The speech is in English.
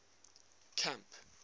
camp